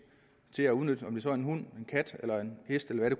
til at udnytte dyr om det så er en hund en kat eller en hest eller hvad det